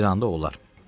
Dedi: İranda olar.